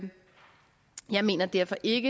jeg mener derfor ikke at